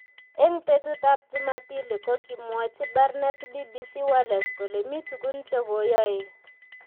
Eng betutab Jumapili ko kimwochi Barnett BBC Wales kole mi tugun che koyoei.